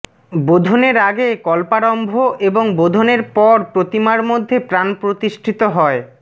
বোধনের আগে কল্পারম্ভ এবং বোধনের পর প্রতিমার মধ্যে প্রাণ প্রতিষ্ঠিত হয়